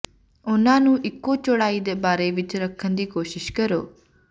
ਉਹਨਾਂ ਨੂੰ ਇੱਕੋ ਚੌੜਾਈ ਦੇ ਬਾਰੇ ਵਿੱਚ ਰੱਖਣ ਦੀ ਕੋਸ਼ਿਸ਼ ਕਰੋ